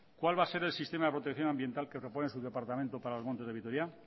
cuál va a ser el sistema de protección ambiental que propone su departamento para los montes de vitoria